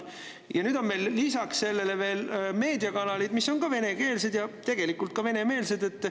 Ja nüüd on meil lisaks sellele veel meediakanalid, mis on venekeelsed ja tegelikult ka venemeelsed.